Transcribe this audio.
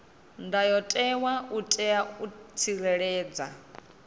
ndayotewa u itela u tsireledza